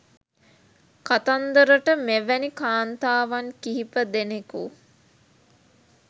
කතන්දරට මෙවැනි කාන්තාවන් කිහිප දෙනෙකු